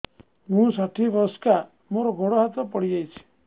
ମୁଁ ଷାଠିଏ ବୟସ୍କା ମୋର ଗୋଡ ହାତ ପଡିଯାଇଛି